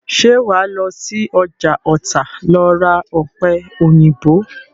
Ṣé wàá lọ sí ọjà Ọ̀tà lọ ra ọ̀pẹ̀-òyìnbó?